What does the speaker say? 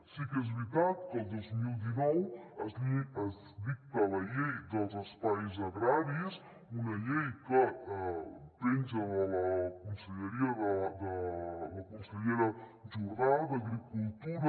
sí que és veritat que el dos mil dinou es dicta la llei dels espais agraris una llei que penja de la conselleria de la consellera jordà d’agricultura